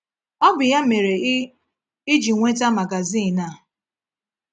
Ọ bụ ya mere i i ji nweta magazin a?